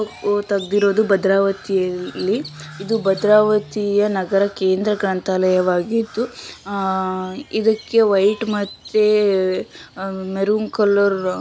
ಇದು ತೆಗೆದಿರುವುದು ಭದ್ರಾವತಿಯಲ್ಲಿ ಇದು ಭದ್ರಾವತಿಯ ನಗರ ಕೇಂದ್ರ ಗ್ರಂಥಾಲಯವಾಗಿದ್ದು ಇದಕ್ಕೆ ವೈಟ್ ಮತ್ತೆ ಮೆರೂನ್ ಕಲರ್